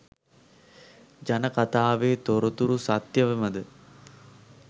ජන කතාවේ තොරතුරු සත්‍යයමද?